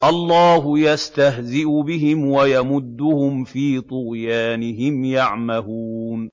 اللَّهُ يَسْتَهْزِئُ بِهِمْ وَيَمُدُّهُمْ فِي طُغْيَانِهِمْ يَعْمَهُونَ